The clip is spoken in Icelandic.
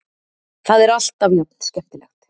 Það er alltaf jafn skemmtilegt.